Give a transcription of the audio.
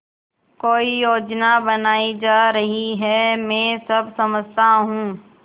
कोई योजना बनाई जा रही है मैं सब समझता हूँ